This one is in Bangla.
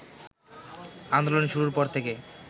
আন্দোলন শুরুর পর থেকে